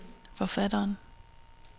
forfatteren